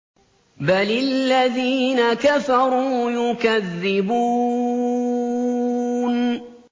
بَلِ الَّذِينَ كَفَرُوا يُكَذِّبُونَ